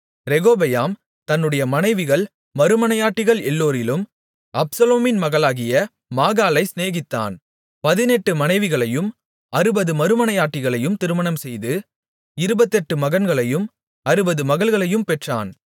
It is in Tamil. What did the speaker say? ரெகொபெயாம் தன்னுடைய மனைவிகள் மறுமனையாட்டிகள் எல்லோரிலும் அப்சலோமின் மகளாகிய மாகாளைச் சிநேகித்தான் பதினெட்டு மனைவிகளையும் அறுபது மறுமனையாட்டிகளையும் திருமணம்செய்து இருபத்தெட்டு மகன்களையும் அறுபது மகள்களையும் பெற்றான்